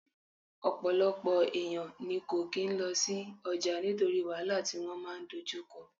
Ọ̀pọ̀lọpọ̀ èèyàn ní kò kín lọ sí ọjà nítorí wàhálà tí wọ́n máa dojú kọ